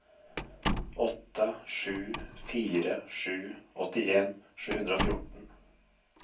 åtte sju fire sju åttien sju hundre og fjorten